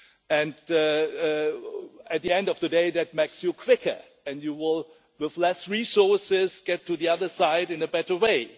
and at the end of the day that makes you quicker, and you will with less resources get to the other side in a better way'.